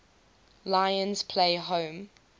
lions play home